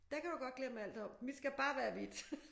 Det kan du godt glemme alt om mit skal bare være hvidt